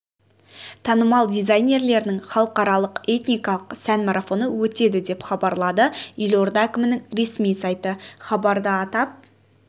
танымал дизайнерлерінің халықаралық этникалық сән марафоны өтеді деп хабарлады елорда әкімінің ресми сайты хабарда атап